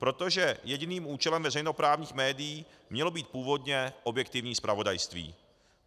Protože jediným účelem veřejnoprávních médií mělo být původně objektivní zpravodajství.